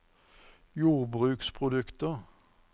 jordbruksprodukter